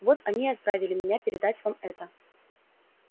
вот они и отправили меня передать вам это